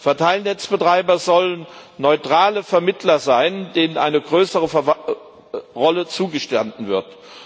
Verteilnetzbetreiber sollen neutrale Vermittler sein, denen eine größere Rolle zugestanden wird.